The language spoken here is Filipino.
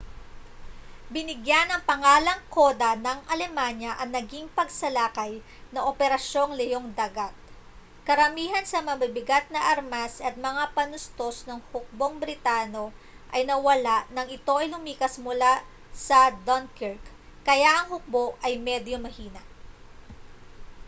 binigyan ng pangalang koda ng alemanya ang naging pagsalakay na operasyong leong-dagat karamihan sa mabibigat na armas at mga panustos ng hukbong britano ay nawala nang ito ay lumikas mula sa dunkirk kaya ang hukbo ay medyo mahina